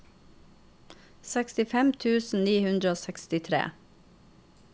sekstifem tusen ni hundre og sekstitre